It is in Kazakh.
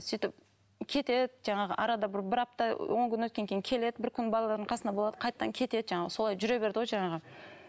сөйтіп кетеді жаңағы арада бір бір апта он күн өткеннен кейін келеді бір күн балаларының қасында болады қайтадан кетеді жаңағы солай жүре берді ғой жаңағы